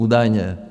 Údajně.